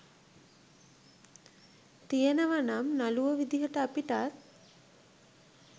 තියෙනව නම් නළුවො විදිහට අපිටත්